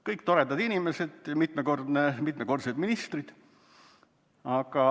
Kõik toredad inimesed, mitmekordsed ministrid.